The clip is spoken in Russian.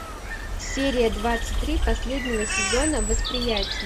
серия двадцать три последнего сезона восприятие